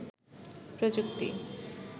প্রযুক্তি